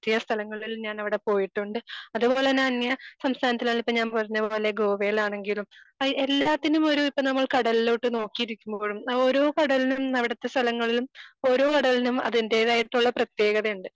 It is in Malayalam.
പറ്റിയ സ്ഥലങ്ങളിൽ ഞാൻ അവിടെ പോയിട്ടുണ്ട്. അതേ പോലെ തന്നെ അന്യ സംസ്ഥാനത്തിൽ അല്ലെങ്കി ഇപ്പൊ ഞാൻ പറഞ്ഞ പോലെ ഗോവയിലാണെങ്കിലും എല്ലാത്തിനും ഒരു ഇപ്പൊ നമ്മൾ കടലിലോട്ട് നോക്കി ഇരിക്കുമ്പോഴും അങ്ങനെ ഓരോ കടലിലും അവിടുത്തെ സ്ഥലങ്ങളിലും ഓരോ കടലിനും അതിന്റേതായിട്ടുള്ള പ്രതേകതയുണ്ട്.